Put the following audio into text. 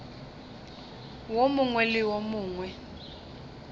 wo mongwe le wo mongwe